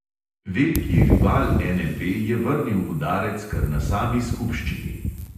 Veliki rival NLB je vrnil udarec kar na sami skupščini.